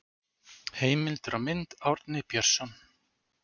Heimildir og mynd Árni Björnsson.